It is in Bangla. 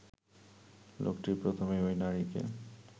লোকটি প্রথমে ঐ নারীকে